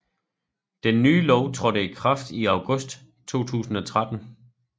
Den nye lov trådte i kraft i august 2013